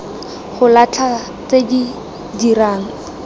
go latlha tse di dirang